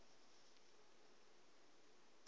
maemu o ya u sela